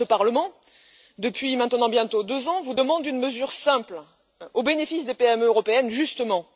Or, ce Parlement, depuis maintenant bientôt deux ans, vous demande une mesure simple, au bénéfice des PME européennes justement.